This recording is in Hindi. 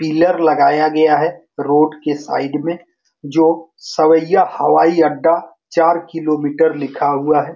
पीलर लगाया गया है रोड की साइड में जो सविया हवाई अड्डा चार किलोमीटर लिखा हुआ है ।